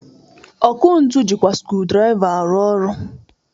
Ọkụ ntu jịkwa skrudraịva arụ ọrụ.